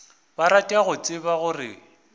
ba rata go tseba gore